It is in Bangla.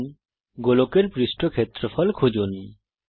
এখন গোলকের পৃষ্ঠ ক্ষেত্রফল খুঁজুন